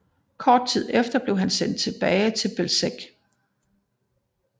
Kort tid efter blev han sendt tilbage til Bełżec